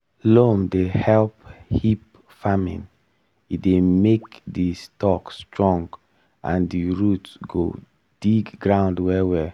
loam dey help hemp farming e dey make the stalk strong and the root go dig ground well-well.